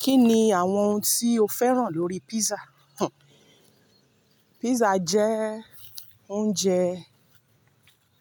Kí ni àwọn ohun tí o fẹ́ràn lórí pizza? Pizza jẹ́ oúnjẹ